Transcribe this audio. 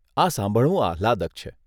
આ સાંભળવું આહલાદક છે.